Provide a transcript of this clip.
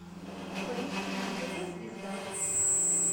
поищи на тв звезда